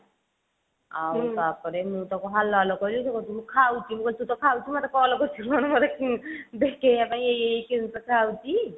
ଆଉ ତାପରେ ମୁଁ ତାକୁ hello hello କହିଲି ସେ କହୁଛି ମୁଁ ଖାଉଛି ମୁଁ କହିଲି ତୁ ତ ଖାଉଛୁ ମତେ କାହିଁକି call କରିଛୁ ସେଉଠୁ ମୋତେ ଦେଖେଇବା ପାଇଁ ଏଇ ଏଇ କଥା ହଉଛି